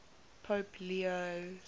pope leo